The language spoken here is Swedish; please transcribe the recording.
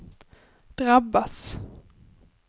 drabbas